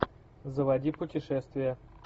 заводи путешествия